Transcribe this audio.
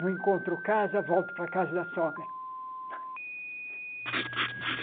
Não encontro casa, volto para a casa da sogra.